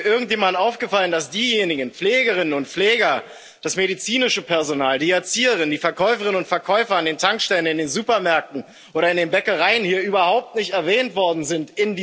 Ist hier irgendjemandem aufgefallen, dass diejenigen Pflegerinnen und Pfleger, das medizinische Personal, die Erzieherinnen, die Verkäuferinnen und Verkäufer an den Tankstellen, in den Supermärkten oder in den Bäckereien hier in dieser Debatte überhaupt nicht erwähnt worden sind?